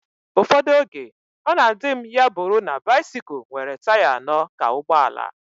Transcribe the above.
Ụfọdụ oge, ọ na adị m ya bụrụ na bisikul nwere taya anọ ka ụgbọala